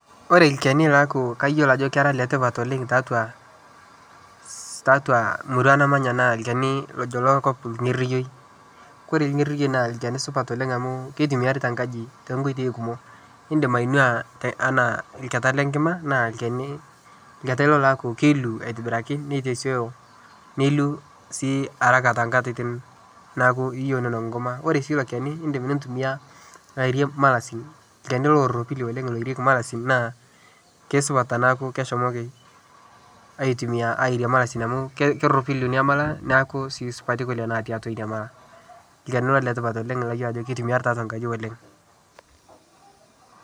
Kore lkeni laaku kayelo ajo kera letipat oleng tatua murua namanya naa lkeni lojo lokop lng'eriyoi ,Kore lng'eriyoi naa lkeni supat Oleng amu keitumiari tenkaji tenkotei kumo indim ainua tana lketa lenkima naa lkeni lketa ilo loilu atibiraki neiteseyo neilu sii haraka tenkatitin niyou ninok nkuma ,Kore sii lokeni naa indim nintumia airie malasin lkeni loropili oleng loirieki malasin naa keisupat tanaku keishomoki atumia airie malasin amu keropili nia mala neaku sii keisupati kule natii atua nia mala lkeni ilo letipat oleng layelo ajo keitumiari tatua nkaji oleng